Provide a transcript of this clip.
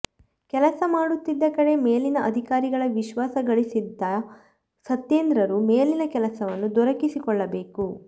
ಕೆಲಸ ಮಾಡುತ್ತಿದ್ದ ಕಡೆ ಮೇಲಿನ ಅಧಿಕಾರಿಗಳ ವಿಶ್ವಾಸ ಗಳಿಸಿದ್ದ ಸತ್ಯೇಂದ್ರರು ಮೇಲಿನ ಕೆಲಸವನ್ನು ದೊರಕಿಸಿಕೊಳ್ಳಬೇಕು